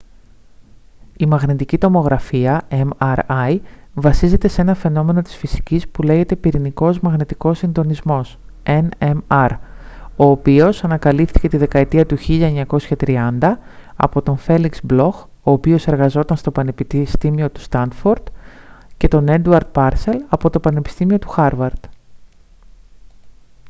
η μαγνητική τομογραφία mri βασίζεται σε ένα φαινόμενο της φυσικής που λέγεται πυρηνικός μαγνητικός συντονισμός nmr ο οποίος ανακαλύφθηκε τη δεκαετία του 1930 από τον φέλιξ μπλοχ ο οποίος εργαζόταν στο πανεπιστήμιο του στάνφορντ και τον έντουαρντ πάρσελ από το πανεπιστήμιο του χάρβαρντ